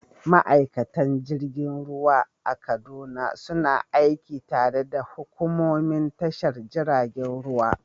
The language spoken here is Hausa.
Ma’aikatan jirgin ruwa a Kaduna suna aiki tare da hukumomin tashar jiragen ruwa.